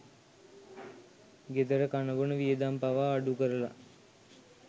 ගෙදර කනබොන වියදම් පවා අඩුකරල